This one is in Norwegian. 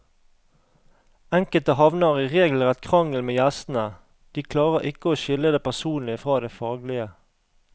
Enkelte havner i regelrett krangel med gjestene, de klarer ikke å skille det personlige fra det faglige.